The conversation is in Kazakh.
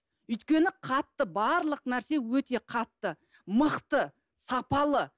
өйткені қатты барлық нәрсе өте қатты мықты сапалы